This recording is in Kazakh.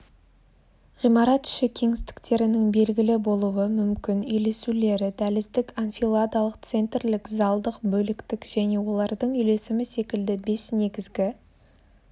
ғимарат іші кеңістіктерінің белгілі болуы мүмкін үйлесулері дәліздік анфиладалық центрлік залдық бөліктік және олардың үйлесімі секілді бес негізгі